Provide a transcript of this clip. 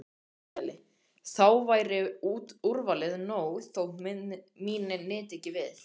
Haukdæli, þá væri úrvalið nóg þótt mín nyti ekki við.